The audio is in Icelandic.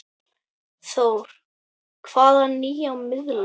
Þór: Hvaða nýja miðla?